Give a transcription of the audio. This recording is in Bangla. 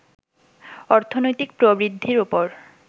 অর্থনৈতিক প্রবৃদ্ধির ওপর